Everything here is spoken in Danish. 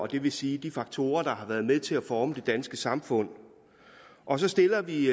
det vil sige de faktorer der har været med til at forme det danske samfund og så stiller vi